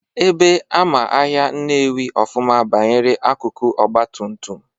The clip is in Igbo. Ebe ama ahịa Nnewi ọfụma banyere akụkụ ọgbatumtum,